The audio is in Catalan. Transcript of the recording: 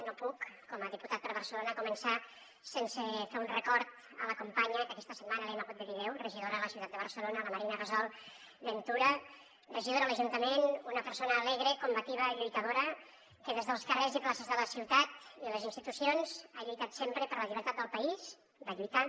no puc com a diputat per barcelona començar sense fer un record a la companya que aquesta setmana li hem hagut de dir adeu regidora a la ciutat de barcelona la marina gasol ventura regidora a l’ajuntament una persona alegre combativa i lluitadora que des dels carrers i places de la ciutat i les institucions ha lluitat sempre per la llibertat del país va lluitar